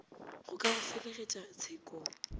go ka go felegetša tshekong